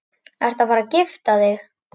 Ertu að fara að gifta þig?